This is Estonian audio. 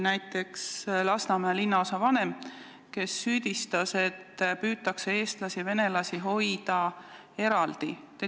Näiteks Lasnamäe linnaosavanem süüdistas, et eestlasi ja venelasi püütakse eraldi hoida.